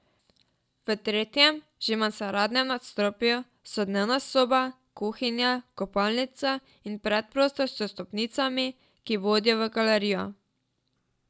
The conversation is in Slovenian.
V tretjem, že mansardnem nadstropju, so dnevna soba, kuhinja, kopalnica in predprostor s stopnicami, ki vodijo v galerijo.